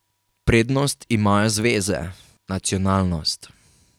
Prednost imajo zveze, nacionalnost.